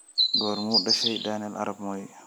goormuu dhashay daniel arap moi